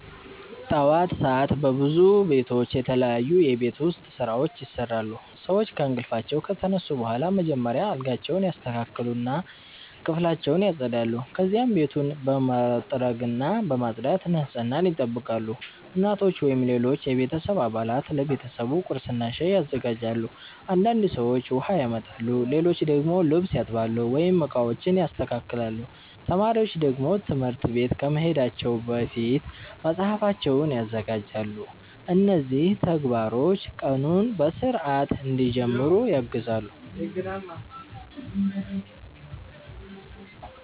ጠዋት ሰዓት በብዙ ቤቶች የተለያዩ የቤት ውስጥ ስራዎች ይሰራሉ። ሰዎች ከእንቅልፋቸው ከተነሱ በኋላ መጀመሪያ አልጋቸውን ያስተካክላሉ እና ክፍላቸውን ያጸዳሉ። ከዚያ ቤቱን በመጥረግና በማጽዳት ንጽህናን ይጠብቃሉ። እናቶች ወይም ሌሎች የቤተሰብ አባላት ለቤተሰቡ ቁርስና ሻይ ያዘጋጃሉ። አንዳንድ ሰዎች ውሃ ያመጣሉ፣ ሌሎች ደግሞ ልብስ ያጥባሉ ወይም ዕቃዎችን ያስተካክላሉ። ተማሪዎች ደግሞ ትምህርት ቤት ከመሄዳቸው በፊት መጽሐፋቸውን ያዘጋጃሉ። እነዚህ ተግባሮች ቀኑን በሥርዓት እንዲጀምሩ ያግዛሉ።